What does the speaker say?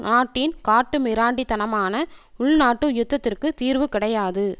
நாட்டின் காட்டுமிராண்டி தனமான உள்நாட்டு யுத்தத்திற்கு தீர்வு கிடையாது